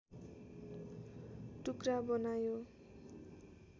टुक्रा बनायो